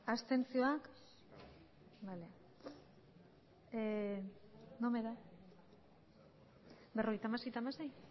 abstentzioa berrogeita hamasei